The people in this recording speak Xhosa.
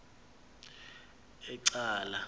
ecala